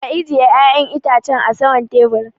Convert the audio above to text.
Ka ajie yayan Itacen a sama'n taburin.